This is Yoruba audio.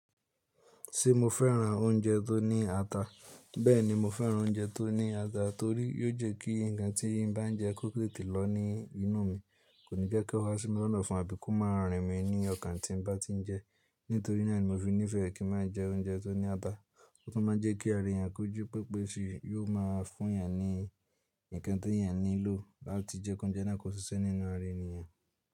Ṣé mo fẹ́ràn oúnjẹ tó ní ata? Bẹ́ẹ̀ni mo fẹ́ràn oúnjẹ tó ní ata torí yóò jẹ́ kí ǹkan tí n bá jẹ kó tètè lọ ní inú mi, kò ní jẹ́ kó ha sí mi lọ́nà ofun abi kò máa rìn mí ní ọkàn tí n bá ti jẹ. Nítorí náà ni mo fi nífẹ̀ẹ́ kí n má jẹ oúnjẹ tó ní ata. Ó tún ma jẹ́ kí ara èèyàn ko ji pẹpẹsi yóò ma fún èèyàn ní ǹkan tí èèyàn nílò láti jẹ́ kí oúnjẹ náà tó ṣiṣẹ́ nínú ara ènìyàn.